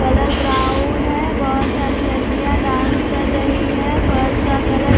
colour brown है बहोत सारी लड़कियां डांस कर रही हैं फर्श का कलर --